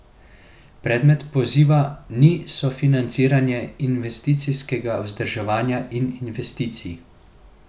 Predmet poziva ni sofinanciranje investicijskega vzdrževanja in investicij.